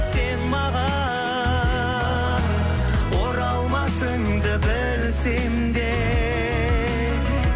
сен маған оралмасыңды білсем де